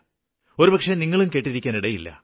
ഒരുപക്ഷേ നിങ്ങളും കേട്ടിരിക്കാന് ഇടയില്ല